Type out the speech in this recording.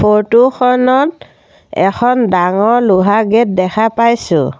ফোৰ্টো খনত এখন ডাঙৰ লোহা গেট দেখা পাইছোঁ।